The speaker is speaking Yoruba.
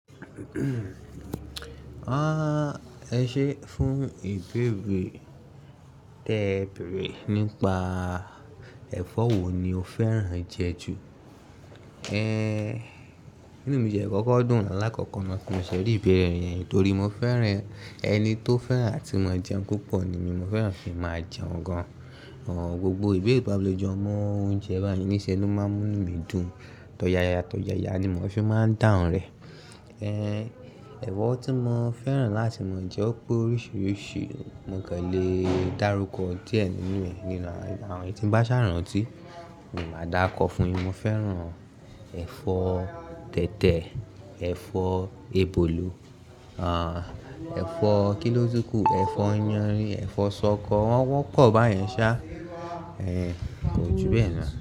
Ah, ẹ ṣé fún ìbéèrè tébèèrè nípa ẹ̀fọ́ wo ni o fẹ́ràn jẹ ju? Eh, mí ní òní mi jẹ̀kọ́kọ́ dùn aláàkọ́kọ́ ni tí mo ṣẹ̀ rí ìbéèrè yẹn torí mo fẹ́ràn ẹni tó fẹ́ràn àti mo jẹun púpọ̀ ni mí mo fẹ́ràn fi máa jẹun gan an. Àwọn gbogbo ìbéèrè ìbálòjọ́ ọmọ oúnjẹ báyìí níṣe ló máa ń mú mí dùn. Tọ̀ya ya tọ̀ya ya ni mò fi máa ń dáhùn rẹ̀. Eh, ẹ̀fọ́ tí mo fẹ́ràn láti máa jẹ ó pé oríṣiríṣi, mo kò lè dárúkọ díẹ̀ nínú rẹ̀ nínú àwọn èyí tí ń bá ṣàránnì tí, mo máa dákọ fún ẹ. Mo fẹ́ràn ẹ̀fọ́ tètè, ẹ̀fọ́ ebòlò, àh, ẹ̀fọ́ kí ló tí kù, ẹ̀fọ́ yanrin, ẹ̀fọ́ ṣọkọ, wọ́n pọ̀ báyẹn sá, eh, ju bẹ́ẹ̀ lọ.